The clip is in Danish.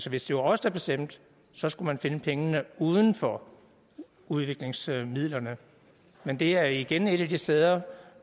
hvis det var os der bestemte så skulle man finde pengene uden for udviklingsmidlerne men det er igen et af de steder